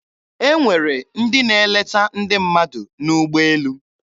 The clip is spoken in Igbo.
E nwere ndị na-eleta ndị mmadụ n'ụgbọelu.